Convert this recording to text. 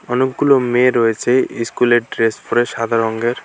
অনেকগুলো মেয়ে রয়েছে স্কুলের ড্রেস পরে সাদা রংয়ের।